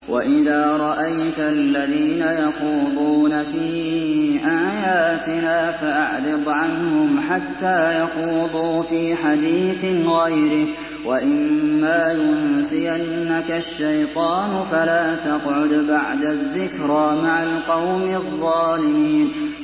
وَإِذَا رَأَيْتَ الَّذِينَ يَخُوضُونَ فِي آيَاتِنَا فَأَعْرِضْ عَنْهُمْ حَتَّىٰ يَخُوضُوا فِي حَدِيثٍ غَيْرِهِ ۚ وَإِمَّا يُنسِيَنَّكَ الشَّيْطَانُ فَلَا تَقْعُدْ بَعْدَ الذِّكْرَىٰ مَعَ الْقَوْمِ الظَّالِمِينَ